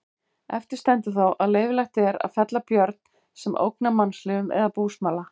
Eftir stendur þó að leyfilegt er að fella björn sem ógnar mannslífum eða búsmala.